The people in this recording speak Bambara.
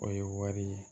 O ye wari ye